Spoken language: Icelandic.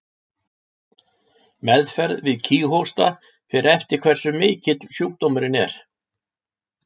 Meðferð við kíghósta fer eftir hversu mikill sjúkdómurinn er.